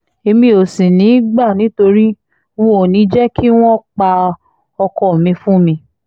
èmi ò sì ní í gbà nítorí n óò ní í jẹ́ kí wọ́n pa ọkọ mi fún mi